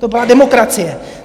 To byla demokracie.